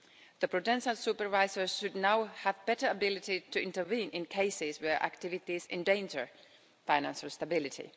The prudential supervisors should now have better abilities to intervene in cases where activities endanger financial stability.